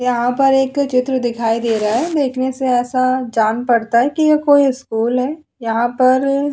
यहां पर एक चित्र दिखाई दे रहा है देखने से ऐसा जान पड़ता है कि यह कोई स्कूल है यहां पर --